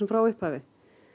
frá upphafi